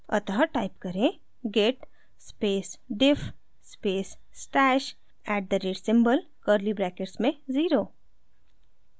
अतः type करें: git space diff space stash at the rate @ symbol curly brackets में zero